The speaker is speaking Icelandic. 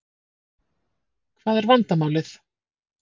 Hvað er vandamálið?